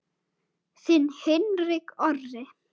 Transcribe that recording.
Þinn Hinrik Orri.